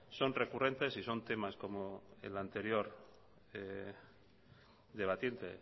son recurrentes y son temas como el anterior debatiente